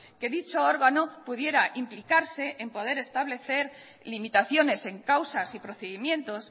que dicho órgano pudiera implicarse en poder establecer limitaciones en causas y procedimientos